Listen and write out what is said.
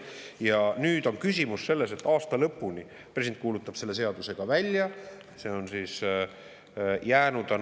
Ja nüüd on küsimus selles, et president selle seaduse välja kuulutama.